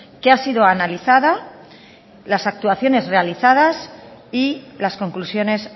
que ha sido analizada las actuaciones realizadas y las conclusiones